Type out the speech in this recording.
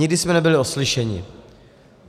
Nikdy jsme nebyli oslyšeni.